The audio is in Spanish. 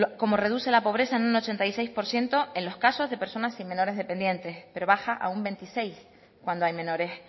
cómo reduce la pobreza en un ochenta y seis por ciento en los casos de personas sin menores dependientes pero baja a un veintiséis cuando hay menores